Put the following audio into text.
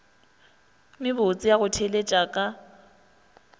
mebotse ya go theeletša ka